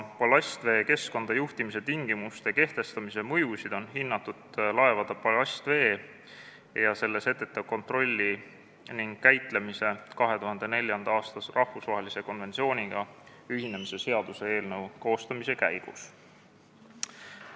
Ballastvee keskkonda juhtimise tingimuste kehtestamise mõjusid on hinnatud laevade ballastvee ja selle setete kontrolli ning käitlemise 2004. aasta rahvusvahelise konventsiooniga ühinemise seaduse eelnõu koostamise käigus.